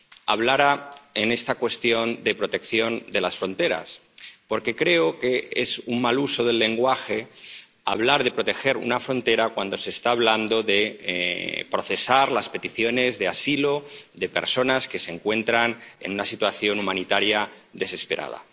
hablara, en esta cuestión, de protección de las fronteras, porque creo que es un mal uso del lenguaje hablar de proteger una frontera cuando se está hablando de procesar las peticiones de asilo de personas que se encuentran en una situación humanitaria desesperada.